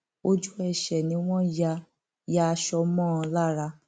ojú ẹsẹ ni wọn ya ya aṣọ mọ ọn lára